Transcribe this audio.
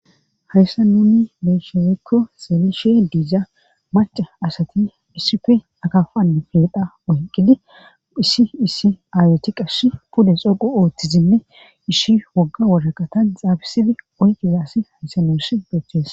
Hayssa nuni leeshefikko seelishe diija maca asati hisife akafanna feedha oyqqidi hissi issi aaweti qash pude xoqu ooththizinne ishi wogga woraqatan xaabisidi oyqiza asi haysenoosh beeththees